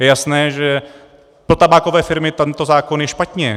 Je jasné, že pro tabákové firmy tento zákon je špatně.